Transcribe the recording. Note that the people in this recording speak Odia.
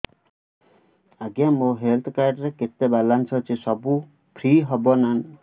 ଆଜ୍ଞା ମୋ ହେଲ୍ଥ କାର୍ଡ ରେ କେତେ ବାଲାନ୍ସ ଅଛି ସବୁ ଫ୍ରି ହବ ନାଁ